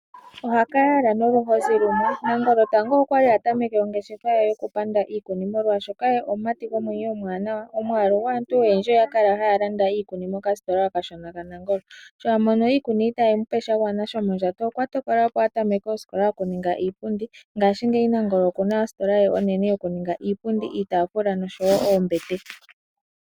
Ohakayala noluhozi lumwe. Nangolo tango okwali atameke ongeshefa ye yoku panda iikuni molwaashoka ye omumati gomwenyo omwaanawa. omwaalu gwaantu oyendji oyakala ha ya landa iikuni mokasitola okashona ka Nangolo. Sho amono iikuni itayi ende nawa okwatokola opo atokole opo ongeshefa yokuninga iipundi ngashingeyi Nangolo okuna ositola ye onene yokuninga iipundi, iitaafula noshowo oombete.